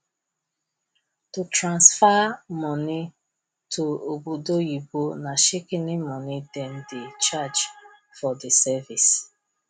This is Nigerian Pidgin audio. to transfer money to obodoyibo na shikini money them dey charge for di service